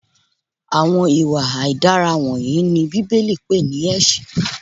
Àwọn ìwà aidara wọnyìí ni Bíbélì pè ní ẹsẹ.